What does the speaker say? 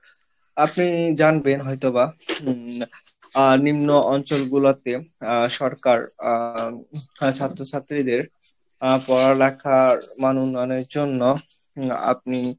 আপনি জানবেন হয়তো বা উম আহ নিম্ন অঞ্চল গুলাতে আহ সরকার আহ ওখানে ছাত্র ছাত্রীদের আহ পড়ালেখার মান উন্নয়ন এর জন্য আপনি